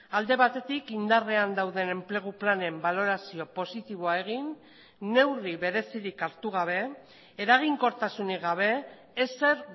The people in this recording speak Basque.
alde batetik indarrean dauden enplegu planen balorazio positiboa egin neurri berezirik hartu gabe eraginkortasunik gabe ezer